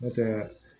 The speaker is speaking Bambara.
N'o tɛ